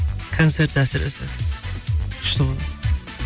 концерт әсіресе күшті ғой